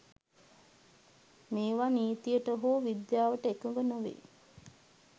මේවා නිතියට හෝ විද්‍යාවට එකග නොවේ